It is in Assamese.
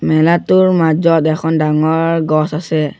মেলাটোৰ মাজত এখন ডাঙৰ গছ আছে।